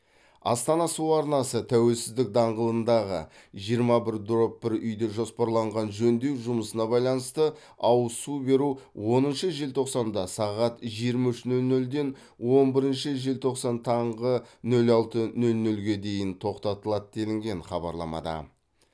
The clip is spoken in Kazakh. астана су арнасы тәуелсіздік даңғылындағы жиырма бір дробь бір үйде жоспарланған жөндеу жұмысына байланысты ауыз су беру оныншы желтоқсанда сағат жиырма үш нөл нөлден он бірінші желтоқсан таңғы нөл алты нөл нөлге дейін тоқтатылады делінген хабарламада